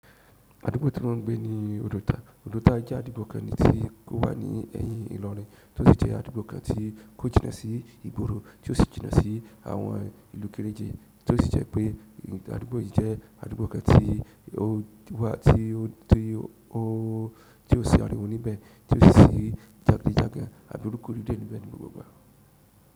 Àdúgbò tí mọ́ ń gbé ni òdòta. Òdòta jẹ́ àdúgbò kan tí ó wà ní ẹ̀yìn ìlọrin tí ó sì jẹ́ àdúgbò kan tí kò jìnnà sí ìgbóro tí ó sì jìnnà sí àwọn ìlú kéreje tí ó sì jẹ́ pé àdúgbò yì jẹ́ àdúgbò kan tí ó wà tí ó tí ó tí ó ṣi àríwó níbẹ̀ tí ó sì ṣi jàgídíjàgan àbí rúko ride níbẹ̀ ni gbogbo.